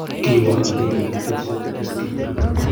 Kiwo ag ndegeit HZSK2.